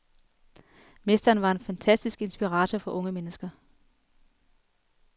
Mesteren var en fantastisk inspirator for unge mennesker.